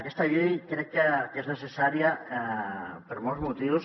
aquesta llei crec que és necessària per molts motius